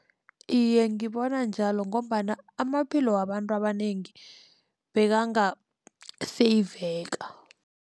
Iye, ngibona njalo ngombana amaphilo wabantu abanengi bekangaseyiveka.